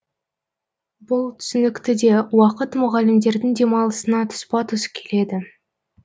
бұл түсінікті де уақыт мұғалімдердің демалысына тұспа тұс келеді